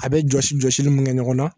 A bɛ jɔsi jɔsili mun kɛ ɲɔgɔn na